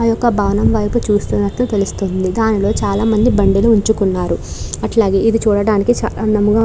ఆ యొక్క భవనం వైపు చూస్తునట్టు తెలుస్తుంది దానిలో చాలా మంది బండిని ఉంచుకున్నారు అట్లాగే ఇది చూడడానికి చాలా అందంగా.